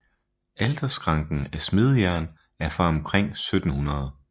Alterskranken af smedejern er fra omkring 1700